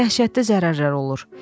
Dəhşətli zərərlər olur.